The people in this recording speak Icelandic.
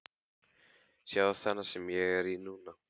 Sjáðu þennan sem ég er í núna?